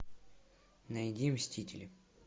найди мстители